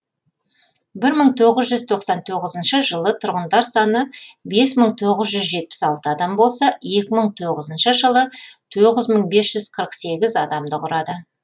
бір мың тоғыз жүз тоқсан тоғызыншы жылы тұрғындар саны бес мың тоғыз жүз жетпіс алты адам болса екі мың тоғызыншы жылы тоғыз мың бес жүз қырық сегіз адамды құрады